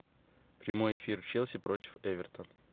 прямой эфир челси против эвертон